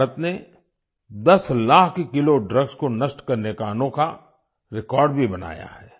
भारत ने 10 lakh kilo drugs को नष्ट करने का अनोखा रेकॉर्ड भी बनाया है